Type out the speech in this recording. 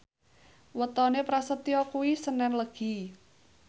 wetone Prasetyo kuwi senen Legi